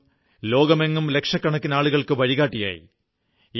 അദ്ദേഹം ലോകമെങ്ങും ലക്ഷക്കണക്കിന് ആളുകൾക്ക് വഴികാട്ടിയായി